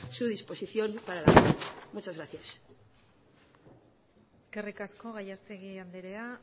su disposición para muchas gracias eskerrik asko gallastegui andrea